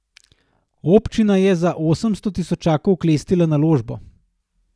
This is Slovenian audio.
Občina je za osemsto tisočakov oklestila naložbo.